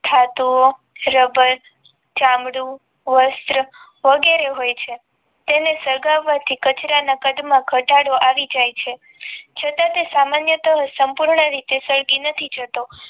ધાતુ ઓ ચામડું વસ્ત્ર વગેરે હોય છે તેને સળગવા થી કાદચર ના કાળ માં ઘટાડો આવી જાય છે છતાં તે સામાન્ય કે સંપૂર્ણ રીતે સળગી નથી જતો